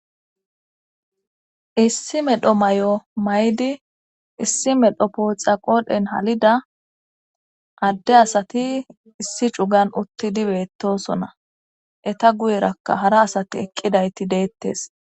Issi medho may'o maydi issi medho pooca qoodhen halida adde asati issi cugan uttidi beettosona eta guyerakka hara asati eqqidayti deettes.